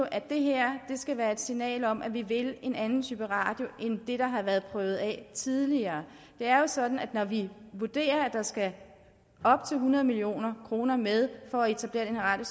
at det her skal være et signal om at vi vil en anden type radio end det der har været prøvet af tidligere det er jo sådan at når vi vurderer at der skal op til hundrede million kroner med for at etablere den her